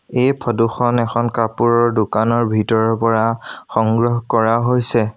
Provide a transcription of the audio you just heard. এই ফটো খন এখন কাপোৰৰ দোকানৰ ভিতৰৰ পৰা সংগ্ৰহ কৰা হৈছে।